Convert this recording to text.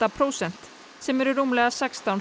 prósent sem eru rúmlega sextán